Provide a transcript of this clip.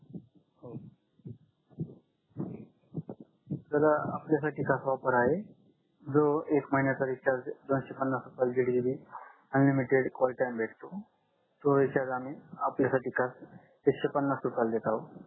तर आपल्या साथी कसा ऑफर आहे जो एक महिन्याचा रिचार्जे दोनशेपणास रुपयाला दीड GB अनलिमिटेड कॉल टाइम भेटो तो आम्ही आपल्या साठी खास एकक्षेपन्नास रुपयाला देत आहो